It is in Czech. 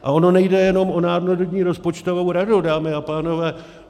A ono nejde jenom o Národní rozpočtovou radu, dámy a pánové.